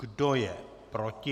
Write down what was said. Kdo je proti?